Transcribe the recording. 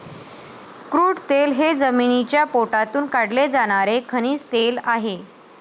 Crude तेल हे जमिनीच्या पोटातून काढले जाणारे खनिज तेल आहे.